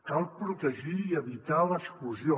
cal protegir i evitar l’exclusió